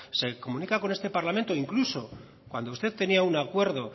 se comunica con este parlamento incluso cuando usted tenía un acuerdo